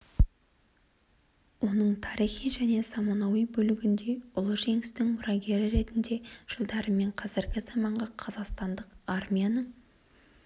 оның тарихи және заманауи бөлігінде ұлы жеңістің мұрагері ретінде жылдары мен қазіргі заманғы қазақстандық армияның